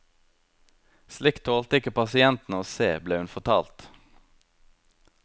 Slikt tålte ikke pasientene å se, ble hun fortalt.